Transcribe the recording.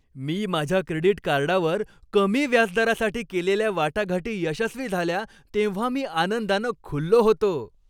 मी माझ्या क्रेडिट कार्डावर कमी व्याजदरासाठी केलेल्या वाटाघाटी यशस्वी झाल्या तेव्हा मी आनंदानं खुललो होतो.